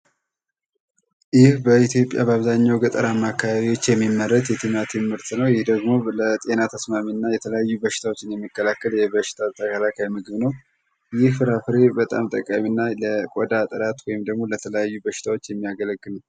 ይህ በኢትዮጵያ በገጠራማ አካባቢዎች የሚመረት የቲማቲም ምርት ነው። ቲማቲም ለጤና ተስማሚ እና የተለያዩ በሽታዎችን የሚከላከል ምግብ ነው። ይህ ፍራፍሬ በጣም ጠቃሚ እና ለቆዳ ጥራት ወይም ደግሞ ለተለያዩ በሽታዎች የሚያገለግል ነው።